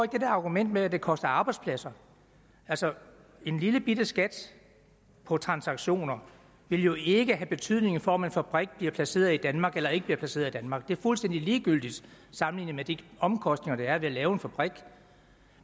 det der argument med at det koster arbejdspladser en lillebitte skat på transaktioner vil jo ikke have betydning for om en fabrik bliver placeret i danmark eller ikke bliver placeret i danmark det er fuldstændig ligegyldigt sammenlignet med de omkostninger der er ved at lave en fabrik